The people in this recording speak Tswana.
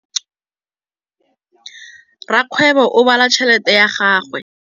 Rakgwêbô o bala tšheletê ya gagwe.